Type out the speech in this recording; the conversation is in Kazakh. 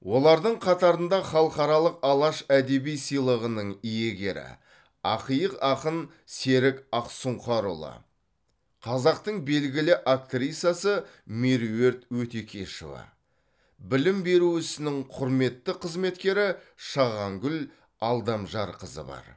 олардың қатарында халықаралық алаш әдеби сыйлығының иегері ақиық ақын серік ақсұңқарұлы қазақтың белгілі актрисасы меруерт өтекешова білім беру ісінің құрметті қызметкері шағангүл алдамжарқызы бар